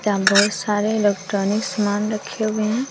यहां बहुत सारे इलेक्ट्रॉनिक्स सामान रखे हुए हैं।